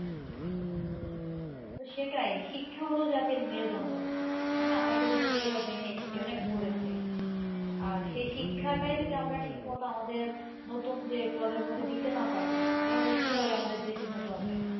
সেটাই শিক্ষা হল জাতির মেরুদন্ড ঠিক না আমরা ছোট থেকে এটা জেনে এসেছি অনেক পড়েছি, আর সেই শিক্ষাটাই যদি আমরা ঠিক মতো আমাদের নতুন যে প্রজন্মকে দিতে না পারি তাহলে কি ভাবে আমাদের দেশ উন্নত হবে?